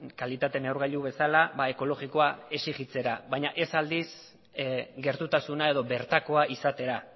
kalitate neurgailu bezala ekologikoa exigitzera baina ez aldiz gertutasuna edo bertakoa izatera